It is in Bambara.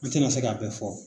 N ti na se ka bɛɛ fɔ.